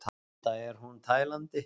Enda er hún tælandi!